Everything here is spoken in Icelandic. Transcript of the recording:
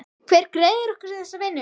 Hver greiðir okkur þessa vinnu?